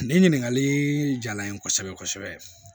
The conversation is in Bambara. Nin ɲininkakali jala n ye kosɛbɛ kosɛbɛ